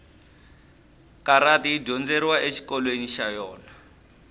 karati ya dyondzeriwa exikolweni xa yona